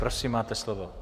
Prosím máte slovo.